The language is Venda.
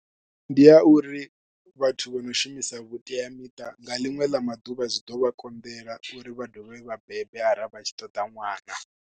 Ndi ya uri vhathu vho no shumisa vhuteamiṱa nga ḽiṅwe ḽa maḓuvha zwi ḓo vha konḓela uri vha dovhe vha bebe arali vha tshi ṱoḓa ṅwana.